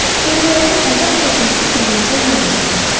Körpələrin əzab çəkməsi canımıza yanğı gətirdi.